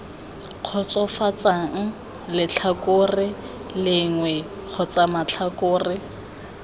kgotsofatsang letlhakore lengwe kgotsa matlhakore